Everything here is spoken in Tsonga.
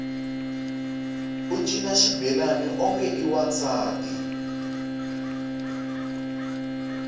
u cina xibelani onge i wansati